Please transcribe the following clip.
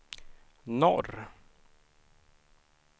norr